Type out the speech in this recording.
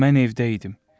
Mən evdə idim.